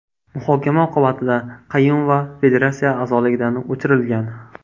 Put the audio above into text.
Muhokama oqibatida Qayumova federatsiya a’zoligidan o‘chirilgan.